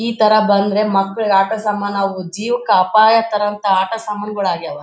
ಈತರ ಬಂದ್ರೆ ಮಕ್ಕಳಿಗೆ ಆಟ ಸಾಮಾನು ಅವು ಜೀವಕ್ಕೆ ಅಪಾಯ ತರುವಂತ ಆಟ ಸಾಮಾನುಗಳು ಆಗ್ಯಾವ.